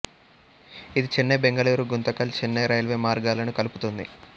ఇది చెన్నై బెంగళూరు గుంతకల్ చెన్నై రైల్వే మార్గాలను కలుపుతుంది